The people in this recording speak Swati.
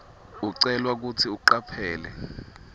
ucelwa kutsi ucaphele